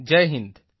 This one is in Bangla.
জয় হিন্দ